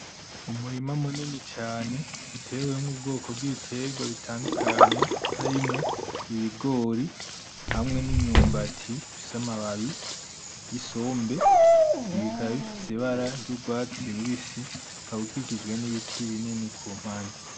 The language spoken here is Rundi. Umurima munini cane utewemwo ubwoko bw'ibitegwa bitandukanye harimwo ibigori hamwe n'imyumbati bifise amababi, isombe, ibi bikaba bifise ibara ry'urwatsi rubisi ukaba ukikijwe n'ibiti binini ku mpande.